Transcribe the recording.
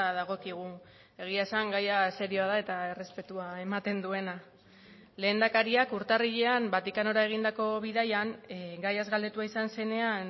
dagokigu egia esan gaia serioa da eta errespetua ematen duena lehendakariak urtarrilean vatikanora egindako bidaian gaiaz galdetua izan zenean